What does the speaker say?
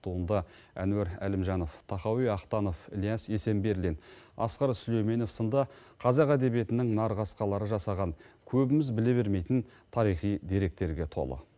туынды әнуар әлімжанов тахауи ахтанов ілияс есенберлин асқар сүлейменов сынды қазақ әдебиетінің нарқасқалары жасаған көбіміз біле бермейтін тарихи деректерге толы